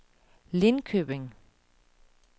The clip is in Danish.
Lindköping